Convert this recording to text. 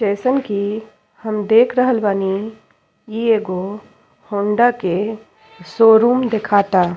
जइसन कि हम देख रहल बानी इ एगो हौंडा के शोरूम दिखाता।